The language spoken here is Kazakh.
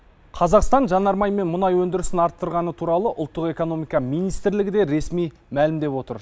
қазақстан жанармай мен мұнай өндірісін арттырғаны туралы ұлттық экономика министрлігі де ресми мәлімдеп отыр